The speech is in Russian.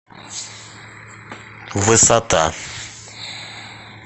высота